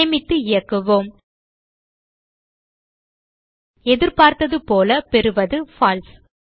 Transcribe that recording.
சேமித்து இயக்குவோம் எதிர்ப்பார்த்தது போல பெறுவது பால்சே